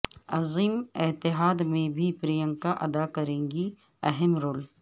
عظیم اتحاد میں بھی پرینکاادا کریں گی اہم رول